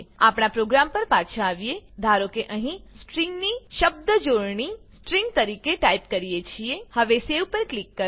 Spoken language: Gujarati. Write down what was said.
આપણા પ્રોગ્રામ પર પાછા આવીએ ધારો કે અહીં આપણે સ્ટ્રિંગ ની શબ્દજોડણી સ્ટ્રિંગ તરીકે ટાઈપ કરીએ છીએ હવે સેવ પર ક્લિક કરો